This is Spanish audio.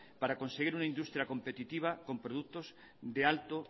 para conseguir una industria competitiva con productos de alto